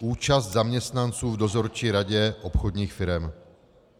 účast zaměstnanců v dozorčí radě obchodních firem.